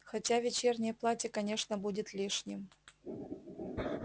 хотя вечернее платье конечно будет лишним